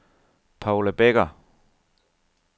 Paula Becker